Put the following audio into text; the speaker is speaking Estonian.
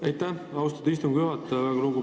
Aitäh, austatud istungi juhataja!